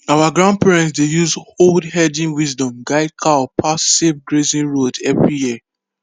our grandparents dey use old herding wisdom guide cow pass safe grazing road every year